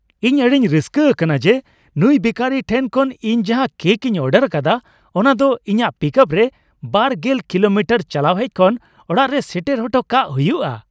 ᱤᱧ ᱟᱹᱰᱤᱧ ᱨᱟᱹᱥᱠᱟᱹ ᱟᱠᱟᱱᱟ ᱡᱮ ᱱᱩᱭ ᱵᱮᱠᱟᱨᱤ ᱴᱷᱮᱱ ᱠᱷᱚᱱ ᱤᱧ ᱡᱟᱦᱟᱸ ᱠᱮᱹᱠ ᱤᱧ ᱚᱰᱟᱨ ᱟᱠᱟᱫᱟ, ᱚᱱᱟ ᱫᱚ ᱤᱧᱟᱹᱜ ᱯᱤᱠᱟᱯ ᱨᱮ ᱒᱐ ᱠᱤᱞᱳᱢᱤᱴᱟᱨ ᱪᱟᱞᱟᱣ ᱦᱮᱡ ᱠᱷᱚᱱ ᱚᱲᱟᱜ ᱨᱮ ᱥᱮᱴᱮᱨ ᱦᱚᱴᱚ ᱠᱟᱜ ᱦᱩᱭᱩᱜᱼᱟ ᱾